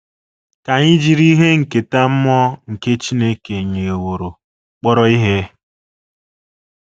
Ka anyị jiri ihe nketa mmụọ nke Chineke nyeworo kpọrọ ihe.